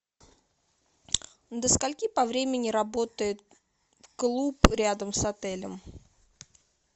до скольки по времени работает клуб рядом с отелем